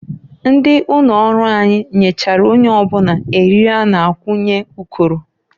Ndị ụnọrụ anyị nyechara onye ọbụna eriri a na-akwunye ụkọrọ.